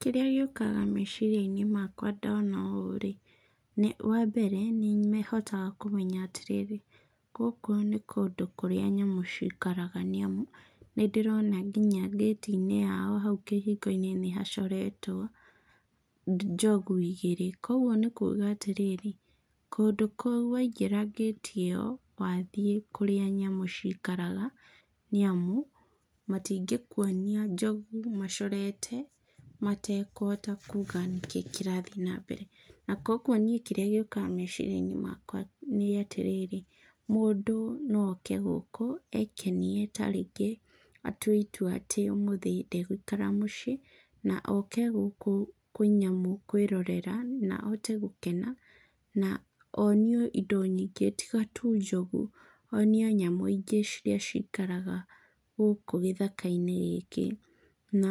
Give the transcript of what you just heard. Kĩrĩa gĩũkaga meciria-inĩ makwa ndona ũũ-rĩ, wambere nĩ hotaga kũmenya atĩrĩrĩ, gũkũ nĩ kũndũ kũrĩa nyamũ cikaraga nĩamu, nĩ ndĩrona kinya ngĩti-inĩ yao hau kĩhingo-inĩ nĩhacoretwo njogu igĩrĩ, kuoguo nĩ kuga atĩrĩrĩ, kũndũ kũu waingĩra ngĩti ĩyo wathiĩ kũrĩa nyamũ cikaraga nĩamu, matingĩkuonia njogu macorete matekũhota kuga nĩkĩĩ kĩrathiĩ na mbere, na kuoguo niĩ kĩrĩa gĩũkaga meciria-inĩ makwa nĩ atĩrĩrĩ, mũndũ no oke gũkũ ekenie ta rĩngĩ atue itua atĩ ũmũthĩ ndegũikara mũciĩ na oke gũkũ kwĩ nyamũ kwĩrorera na ahote gũkena, na onio indo nyingĩ tiga tu njogu, onio nyamũ ingĩ cikaraga gũkũ gĩthaka-inĩ gĩkĩ. Na,